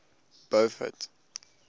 beaufort